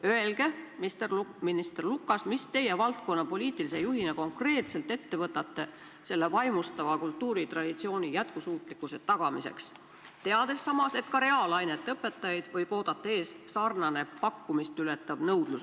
Öelge, minister Lukas, mida teie valdkonna poliitilise juhina konkreetselt ette võtate meie vaimustava kultuuritraditsiooni jätkusuutlikkuse tagamiseks, teades samas, et ka reaalainete õpetajaid on peagi märksa vähem, kui on nõudlus.